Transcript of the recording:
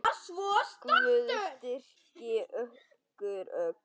Guð styrki ykkur öll.